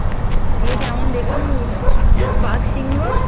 গিয়ে কেমন দেখলি বাঘ সিংহ